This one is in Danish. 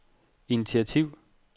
initiativ